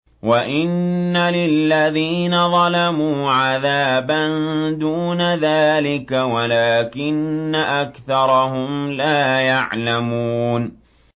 وَإِنَّ لِلَّذِينَ ظَلَمُوا عَذَابًا دُونَ ذَٰلِكَ وَلَٰكِنَّ أَكْثَرَهُمْ لَا يَعْلَمُونَ